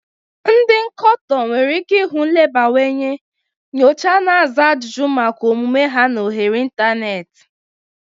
Ndi nkoto nwere ike ihu nlebawanye nyocha na aza ajụjụ maka omume ha na oghere ịntanetị.